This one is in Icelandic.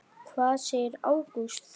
Hvað segir Ágúst Þór?